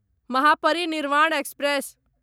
Mahaparinirvan express